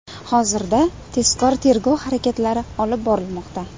Hozirda tezkor tergov harakatlari olib borilmoqda.